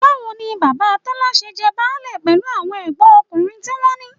Báwo ni bàbá Tọ́lá ṣe jẹ́ báálé pẹ̀lú àwọn ẹ̀gbọ́nkùnrin tí wọ́n ní?